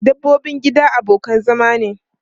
Dabbobin gida abokan zama ne.